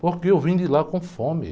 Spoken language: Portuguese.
Porque eu vim de lá com fome.